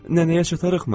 Nənəyə çatarıqmı?